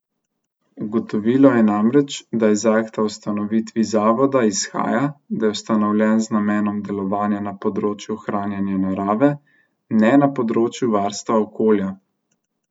Ugotovilo je namreč, da iz akta o ustanovitvi zavoda izhaja, da je ustanovljen z namenom delovanja na področju ohranjanja narave, ne na področju varstva okolja.